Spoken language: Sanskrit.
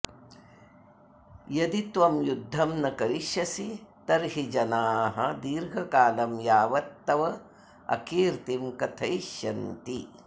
यदि त्वं युद्धं न करिष्यसि तर्हि जनाः दीर्घकालं यावत् तव अकीर्तिं कथयिष्यन्ति